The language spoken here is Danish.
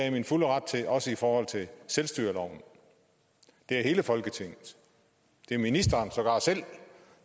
i min fulde ret til også i forhold til selvstyreloven det er hele folketinget det er ministeren sågar selv